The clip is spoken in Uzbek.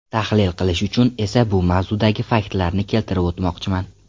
Tahlil qilish uchun esa bu mavzudagi faktlarni keltirib o‘tmoqchiman.